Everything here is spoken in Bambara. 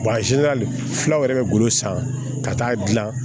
Wa filaw yɛrɛ bɛ golo san ka taa dilan